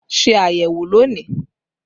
Ṣé ayẹwo lónìí!